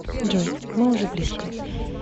джой мы уже близко